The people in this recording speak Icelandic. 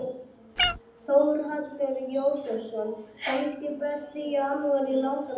Þórhallur Jósefsson: Kannski besti janúar í langan tíma?